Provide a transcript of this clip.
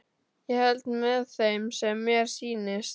Ég held með þeim sem mér sýnist!